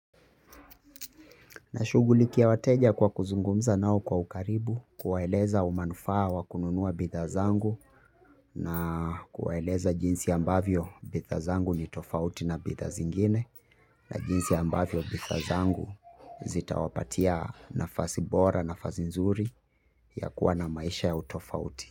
Na shughulikia wateja kwa kuzungumza nao kwa ukaribu kuwaeleza umanufaa wa kununua bidhaa zangu na kuwaeleza jinsi ambavyo bidhaa zangu ni tofauti na bidhaa zingine na jinsi ambavyo bidhaa zangu zitawapatia nafasi bora nafasi nzuri ya kuwa na maisha ya utofauti.